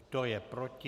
Kdo je proti?